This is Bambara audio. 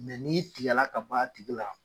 n'i tigɛ la ka ban a tigi la.